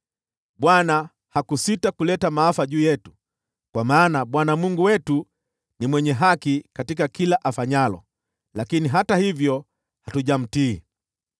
Bwana hakusita kuleta maafa juu yetu, kwa maana Bwana Mungu wetu ni mwenye haki katika kila afanyalo; lakini hata hivyo hatujamtii.